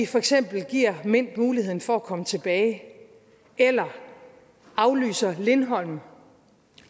for eksempel give mint muligheden for at komme tilbage eller aflyse lindholm